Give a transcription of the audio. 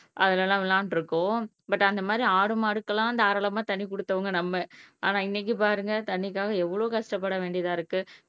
அதுல எல்லாம் விளையாண்டு இருக்கோம் பட் அந்த மாதிரி ஆடு மாடுக்கெல்லாம் தாராளாமா தண்ணி கொடுத்தவங்க நம்ம ஆனா இன்னைக்கு பாருங்க தண்ணிக்காக எவ்வளவு கஷ்டப்பட வேண்டியதா இருக்கு